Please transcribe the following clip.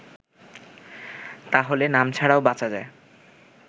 তাহলে নাম ছাড়াও বাঁচা যায়